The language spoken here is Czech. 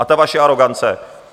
A ta vaše arogance.